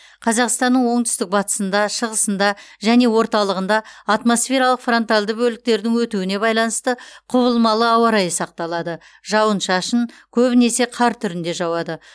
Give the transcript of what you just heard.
қазақстаның оңтүстік батысында шығысыңда және орталығында атмосфералық фронтальды бөліктердің өтуіне байланысты құбылмалы ауа райы сақталады жауын шашын көбінесе қар түрінде жауады